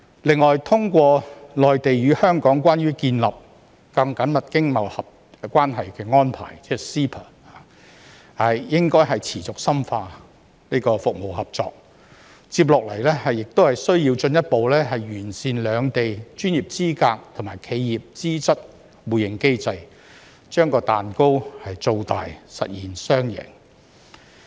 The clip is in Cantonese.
此外，通過《內地與香港關於建立更緊密經貿關係的安排》，應該持續深化服務合作。接下來須進一步完善兩地專業資格及企業資質互認機制，將蛋糕造大，實現雙贏。